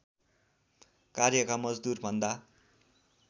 कार्यका मजदूरभन्दा